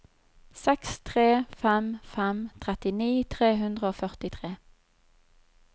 seks tre fem fem trettini tre hundre og førtitre